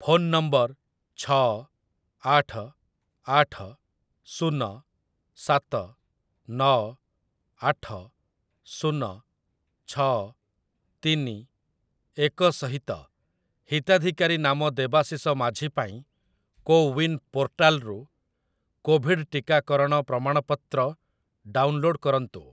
Phone number ଛଅ, ଆଠ, ଆଠ, ଶୂନ, ସାତ, ନଅ, ଆଠ, ଶୂନ, ଛଅ, ତିନି, ଏକ ସହିତ ହିତାଧିକାରୀ ନାମ ଦେବାଶିଷ ମାଝୀ ପାଇଁ କୋୱିନ୍ ପୋର୍ଟାଲ୍‌ରୁ କୋଭିଡ୍ ଟିକାକରଣ ପ୍ରମାଣପତ୍ର ଡାଉନଲୋଡ୍ କରନ୍ତୁ ।